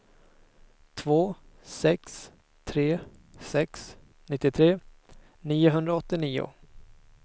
två sex tre sex nittiotre niohundraåttionio